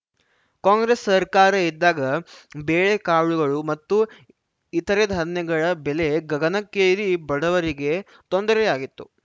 ಕಾಂಗ್ರೆಸ್‌ ಸರ್ಕಾರ ಇದ್ದಾಗ ಬೇಳೆ ಕಾಳುಗಳು ಮತ್ತು ಇತರೆ ಧಾನ್ಯಗಳ ಬೆಲೆ ಗಗನಕ್ಕೇರಿ ಬಡವರಿಗೆ ತೊಂದರೆಯಾಗಿತ್ತು